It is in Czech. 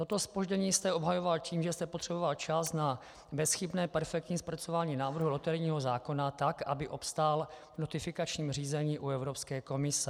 Toto zpoždění jste obhajoval tím, že jste potřeboval čas na bezchybné, perfektní zpracování návrhu loterijního zákona tak, aby obstál v notifikačním řízení u Evropské komise.